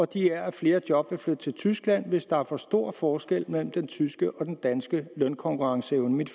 de er at flere job vil flytte til tyskland hvis der er for stor forskel mellem den tyske og danske lønkonkurrenceevne